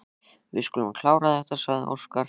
Við skulum klára þetta, sagði Óskar.